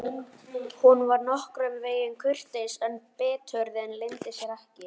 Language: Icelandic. Hún var nokkurn veginn kurteis en biturðin leyndi sér ekki.